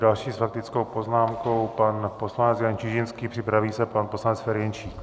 Další s faktickou poznámkou pan poslanec Jan Čižinský, připraví se pan poslanec Ferjenčík.